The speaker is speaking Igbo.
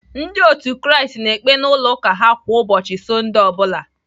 Ndị otu Kraist na-ekpe n'ụlọ ụka ha kwa ụbọchị Sọndee ọ bụla..